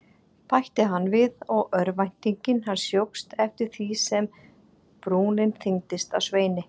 bætti hann við og örvænting hans jókst eftir því sem brúnin þyngdist á Sveini.